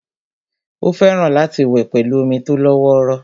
Ó fẹ́ràn láti wẹ̀ pẹ̀lú omi tó lọ́wọ́rọ́